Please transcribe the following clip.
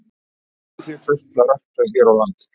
Hvað þykir þér best að rækta hér á landi?